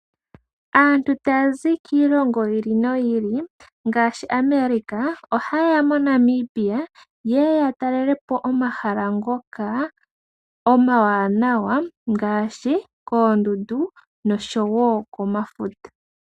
Aantu taya zi kiilongo yi ili noyi ili ngaashi America, oha yeya moNamibia yeye ya talelepo omahala ngoka omawanawa, ngaashi koondundu nosho wo komafuta.